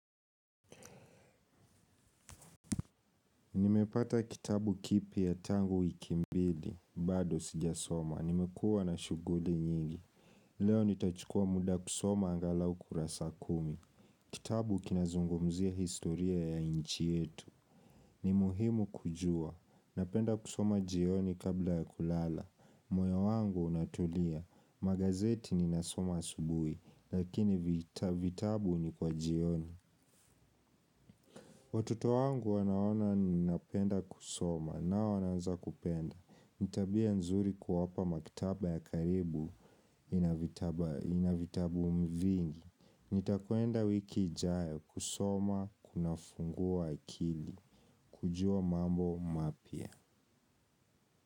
Nimepata kitabu kipya tangu wiki mbili, bado sijasoma. Nimekua na shuguli nyingi. Leo nitachukua muda kusoma angalau kurasa kumi. Kitabu kinazungumzia historia ya inchi yetu. Ni muhimu kujua. Napenda kusoma jioni kabla ya kulala. Moyo wangu unatulia. Magazeti ninasoma asubui, lakini vitabu ni kwa jioni. Watoto wangu wanaona ninapenda kusoma, nao wanaanza kupenda. Ni tabia nzuri kuwapa maktaba ya karibu ina vitabu vingi. Nitakuenda wiki ijayo kusoma kunafungua akili. Kujua mambo mapya.